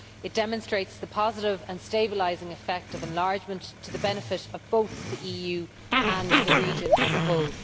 It demonstrates the positive and stabilising effect of enlargement to the benefit of both the EU and the region as a whole.